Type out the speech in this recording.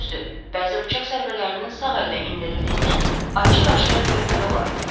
Düzdür, bəzi bıçaq zərbələrinin sağ əllə endirildiyini açıq-aşkar görmək olar.